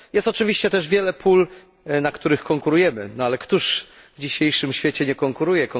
Jest też oczywiście wiele pól, na których konkurujemy, ale któż w dzisiejszym świecie nie konkuruje?